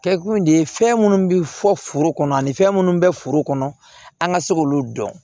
Kɛkun de ye fɛn minnu bɛ fɔ foro kɔnɔ ani fɛn minnu bɛ furu kɔnɔ an ka se k'olu dɔn